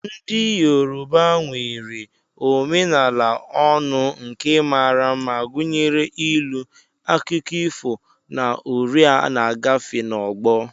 Ndị Yoruba nwere omenala ọnụ nke mara mma, gụnyere ilu, akụkọ ifo, na uri a na-agafe n'ọgbọ.